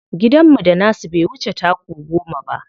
Gidanmu da nasu bai wuce taku goma ba.